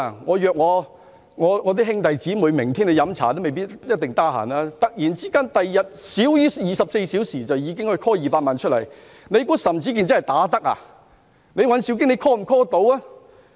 我約兄弟姊妹明天喝茶，他們也未必一定有空，在少於24小時內便可以突然召喚200萬人明天上街遊行嗎？